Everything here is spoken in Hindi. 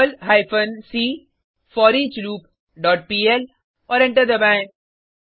Perl hyphen c foreachloop dot PL और एंटर दबाएँ